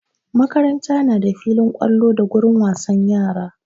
Makaranta na da filin ƙwallo da gurin wasan yara.